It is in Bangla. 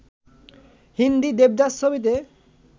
হিন্দি ‘দেবদাস’ ছবিতে